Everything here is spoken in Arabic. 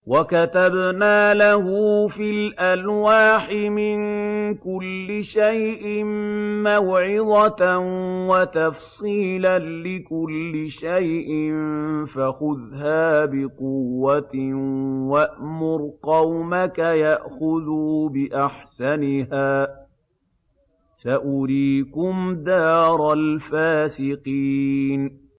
وَكَتَبْنَا لَهُ فِي الْأَلْوَاحِ مِن كُلِّ شَيْءٍ مَّوْعِظَةً وَتَفْصِيلًا لِّكُلِّ شَيْءٍ فَخُذْهَا بِقُوَّةٍ وَأْمُرْ قَوْمَكَ يَأْخُذُوا بِأَحْسَنِهَا ۚ سَأُرِيكُمْ دَارَ الْفَاسِقِينَ